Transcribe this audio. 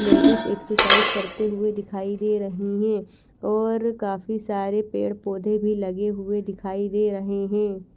Ladies exercise करते हुए दिखाई दे रही है और काफी सारे पेड़ पौधे भी लगे हुए दिखाई दे रहे है।